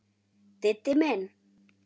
Diddi minn!